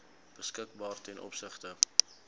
beskikbaar ten opsigte